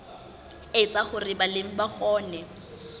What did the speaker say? etsa hore balemi ba kgone